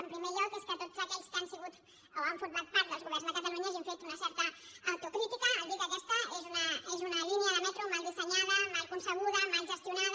en primer lloc que tots aquells que han sigut o han format part dels governs de catalunya hagin fet una certa autocrítica al dir que aquesta és una línia de metro mal dissenyada mal concebuda mal gestionada